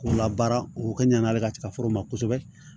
K'u labaara u ka ɲanatigɛ foro ma kosɛbɛ